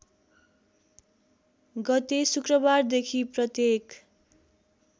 गते शुक्रबारदेखि प्रत्येक